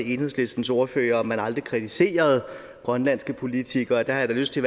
enhedslistens ordfører om man aldrig kritiserede grønlandske politikere der har jeg da lyst til